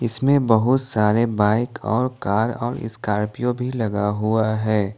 इसमें बहुत सारे बाइक और कार और स्कॉर्पियो भी लगा हुआ है।